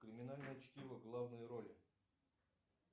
криминальное чтиво главные роли